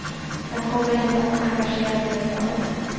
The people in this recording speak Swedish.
Jag kommer inte att engagera mig, sa jag.